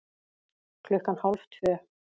Klukkan hálf tvö